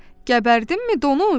Qəbərdinmi, donuz?"